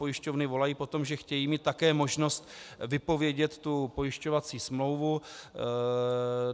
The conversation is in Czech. Pojišťovny volají po tom, že chtějí mít také možnost vypovědět pojišťovací smlouvu.